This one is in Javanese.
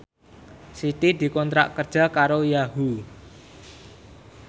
Siti dikontrak kerja karo Yahoo!